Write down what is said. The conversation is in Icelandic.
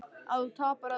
Að þú tapar ef þú ferð.